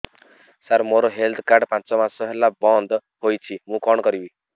ସାର ମୋର health card ପାଞ୍ଚ ମାସ ହେଲା ବଂଦ ହୋଇଛି ମୁଁ କଣ କରିବି